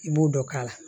I b'o dɔ k'a la